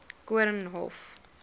koornhof